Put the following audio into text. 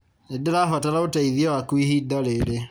Nĩndĩrabatara ũteithio waku ihinda rĩrĩ